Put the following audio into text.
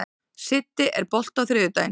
Siddi, er bolti á þriðjudaginn?